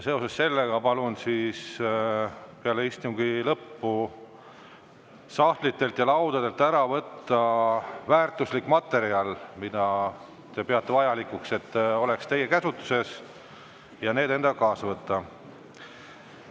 Sellega seoses palun peale istungi lõppu võtta sahtlitest ja laudadelt ära väärtuslik materjal, mida te peate vajalikuks, et oleks teie käsutuses, ja see endaga kaasa võtta.